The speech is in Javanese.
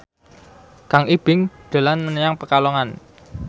Kang Ibing dolan menyang Pekalongan